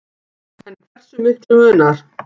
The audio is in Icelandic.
En hversu miklu munar